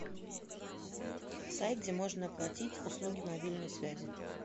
сайт где можно оплатить услуги мобильной связи